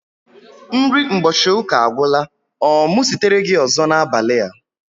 Nri mgbochi ụka agwula. Ọ mụ sitere gị ọzọ n'abali a?